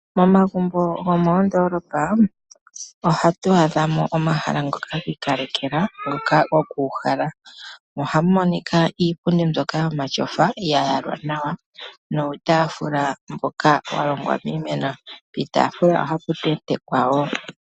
Momagumbo gomondoolopa ohatu adha mo omahala ngoka gi ikalekelwa ngoka go kuuhala, ohamu monika Iipundi mbyoka yomatyofa ya yalwa nawa niitaafula mboka wa longwa miimeno, puutaafula ohapu tentekwa wo.